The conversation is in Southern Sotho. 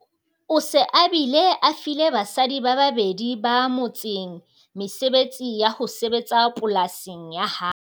O se a bile a file basadi ba babedi ba motseng mesebetsi ya ho sebetsa polasing ya hae.